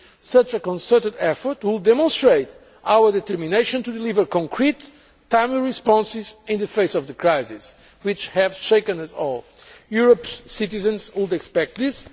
Such a concerted effort would demonstrate our determination to deliver concrete, timely responses in the face of the crisis which has shaken us all. Europe's citizens would expect